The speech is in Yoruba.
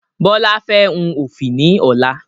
Bọlá fẹ́ hun ofi ni ọ̀la